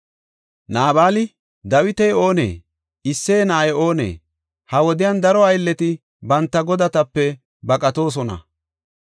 Naabali, “Dawiti oonee? Isseye na7ay oonee? Ha wodiyan daro aylleti banta godatape baqatoosona.